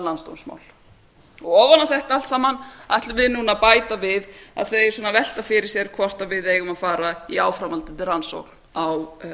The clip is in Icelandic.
landsdómsmál ofan á þetta allt saman ætlum við núna að bæta við að þeir sem velta fyrir sér hvort við eigum að fara í áframhaldandi rannsókn á